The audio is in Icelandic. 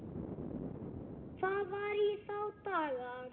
Það var í þá daga!